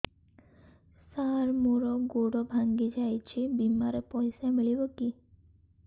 ସାର ମର ଗୋଡ ଭଙ୍ଗି ଯାଇ ଛି ବିମାରେ ପଇସା ମିଳିବ କି